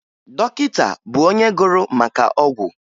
Dọkịta bụ onye gụrụ maka ọgwụ